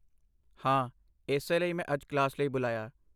ਹਾਂ, ਇਸੇ ਲਈ ਮੈਂ ਅੱਜ ਕਲਾਸ ਲਈ ਬੁਲਾਇਆ।